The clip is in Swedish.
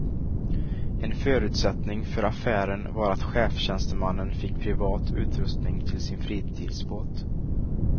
En förutsättning för affären var att chefstjänstemannen fick privat utrustning till sin fritidsbåt.